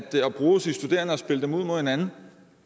bruge de studerende og spille dem ud mod hinanden